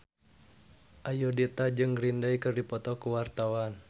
Ayudhita jeung Green Day keur dipoto ku wartawan